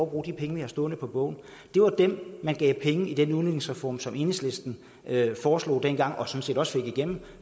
at bruge de penge vi har stående på bogen det var dem man gav penge i den udligningsreform som enhedslisten foreslog dengang og sådan set også fik igennem